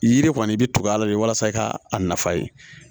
Yiri kɔni i bɛ tugu a la de walasa i ka a nafa ye